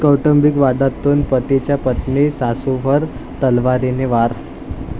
कौटुंबिक वादातून पतीचा पत्नी, सासूवर तलवारीने वार